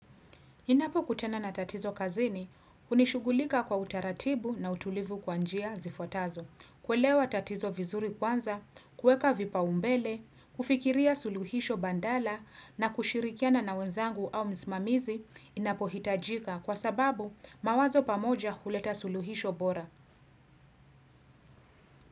Ninapo kutana na tatizo kazini, unishugulika kwa utaratibu na utulivu kwa njia zifuatazo. Kuelewa tatizo vizuri kwanza, kueka vipaumbele, kufikiria suluhisho badala na kushirikiana na wenzangu au msimamizi inapohitajika kwa sababu mawazo pamoja huleta suluhisho bora.